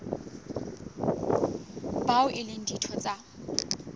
bao e leng ditho tsa